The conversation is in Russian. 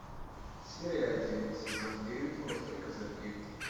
серия один сезон девять острые козырьки